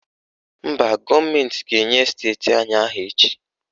Mba, gọọmentị ga-enye esteti anyị aha echi.